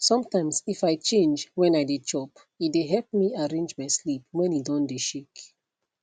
sometimes if i change when i dey chop e dey help me arrange my sleep when e don dey shake